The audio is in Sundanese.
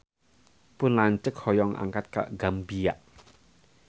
Pun lanceuk hoyong angkat ka Gambia